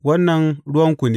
Wannan ruwanku ne!